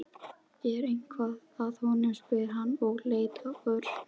Er eitthvað að honum? spurði hann og leit á Örn.